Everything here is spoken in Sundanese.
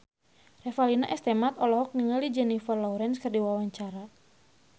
Revalina S. Temat olohok ningali Jennifer Lawrence keur diwawancara